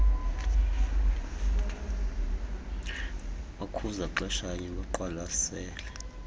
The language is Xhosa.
bakhuza xeshanye beqwalasele